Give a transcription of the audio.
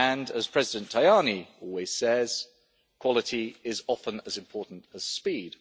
As President Tajani always says, quality is often as important as speed.